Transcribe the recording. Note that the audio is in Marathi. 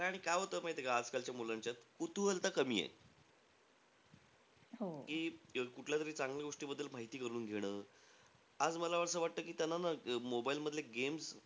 आणि काय होत माहितीय का आज कालच्या मुलांच्यात? कुतूहलता कमीयं. की कुठल्या तरी चांगल्या गोष्टीबद्दल माहिती करून घेणं. आज मला असं वाटतं कि त्यांना न mobile मधले games,